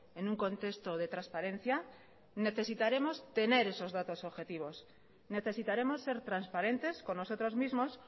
en un contexto de transparencia necesitaremos tener esos datos objetivos necesitaremos ser transparentes con nosotros mismos